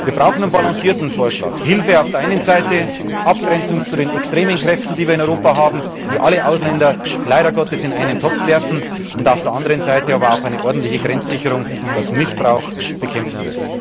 werden. Wir brauchen einen balancierten Vorschlag Hilfe auf der einen Seite, Abgrenzung zu den extremen Kräften, die wir in Europa haben, die alle Ausländer leider Gottes in einen Topf werfen, und auf der anderen Seite aber auch eine ordentliche Grenzsicherung und die Bekämpfung